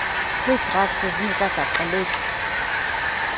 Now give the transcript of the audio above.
kwii drugs zingekagaxeleki